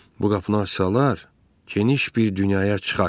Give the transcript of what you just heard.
Bu qapını açsalar, geniş bir dünyaya çıxarsan.